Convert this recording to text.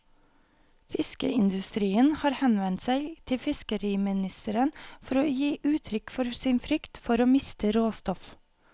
Fiskeindustrien har henvendt seg til fiskeriministeren for å gi uttrykk for sin frykt for å miste råstoff.